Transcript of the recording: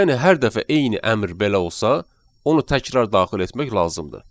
Yəni hər dəfə eyni əmr belə olsa, onu təkrar daxil etmək lazımdır.